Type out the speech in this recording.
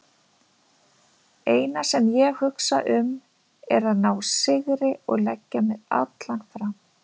Eina sem ég hugsa um er að ná sigri og leggja mig allan fram.